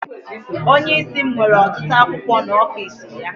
Onye isi m nwere ọtụtụ akwụkwọ n'ọfịs ya.